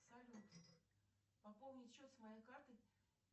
салют пополнить счет с моей карты